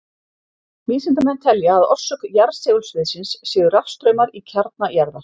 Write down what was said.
Vísindamenn telja að orsök jarðsegulsviðsins séu rafstraumar í kjarnar jarðar.